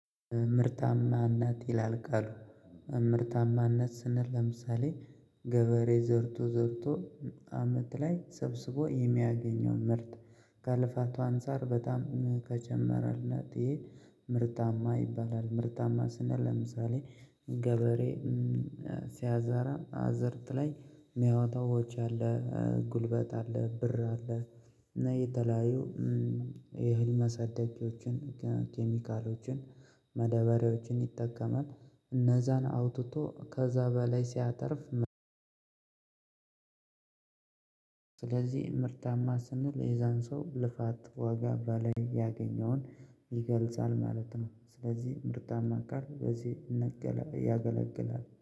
ምርታማነት ይላል ቃሉ ምርታማነት ስንል ለምሳሌ ገበሬ ዘርቶ ዘርቶ አመት ላይ ሰብስቦ የሚያገኘው ምርት ከልፋቱ አንፃር በጣም ከጨመረለት ይሄ ምርታማ ይባላል። ምርታማ ስነል ለምሳሌ ገበሬ። ሲያዛራ አዘርት ላይ ሚያወጣው ወጭ አለ። ጉልበት አለ ብር አለ። እና የተለያዩ የእህል ማሳደጊያዎችን ኬሚካሎችን መደበሪያዎችን ይጠቀማል እነዛን አውጥቶ ከዛ በላይ ሲያተርፍ። ስለዚህ ምርታማ ስንል የዛን ሰው ልፋት ዋጋ በላይ ያገኘውን ይገልጻል ማለት ነው። ስለዚህ ምርታማ ቃል በዚህ ያገለግላል